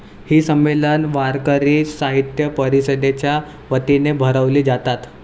ही संमेलन वारकरी साहित्य परिषदेच्या वतीने भरवली जातात.